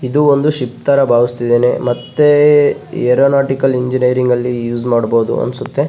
ಇದು ಒಂದ್ ಶಿಪ್ ತರ ಭಾವಿಸ್ತಿದೇನೆ ಮತ್ತೆ ಏರೊನೋಟಿಕ್ ಇಂಜಿನಿಯರಿಂಗ್ ಅಲ್ಲಿ ಯೂಸ್ ಮಾಡ್ಬಹುದು ಅನ್ಸುತ್ತೆ .